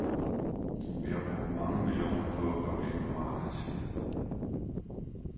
Vi har brugt mange millioner på at komme ind på markedet, siger han.